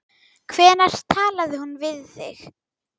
Hvenær talaði hún við þig?